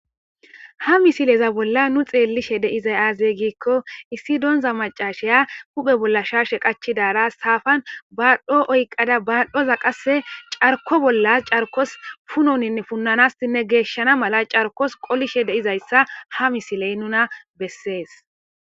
Ha misileza bolla nu xeellishe de'izay aazey giikko issi doonza macashaya huphe bolla sharshe qachidaara saafan baadhdho oyqqada baadhoza qase carko bollas carkos punoninne punnanasinne geeshshana mala carkos qolishe deizayssa ha misiley nuna bessees